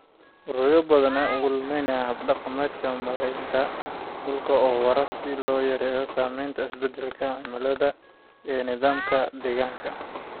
Ururo badan ayaa u ololeeya hab-dhaqannada maaraynta dhulka oo waara si loo yareeyo saamaynta isbeddelka cimilada ee nidaamka deegaanka.